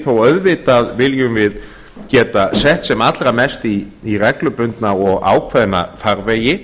þó auðvitað viljum við geta sett sett sem allra mest í reglubundna og ákveðna farvegi